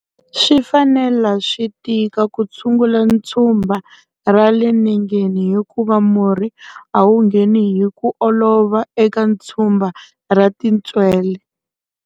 Swi fanelela swi tika ku tshungula tshumba ra le nengeni hikuva murhi a wu ngheni hi ku olova eka tshumba ra tintswele.